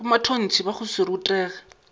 bomatontshe ba go se rutege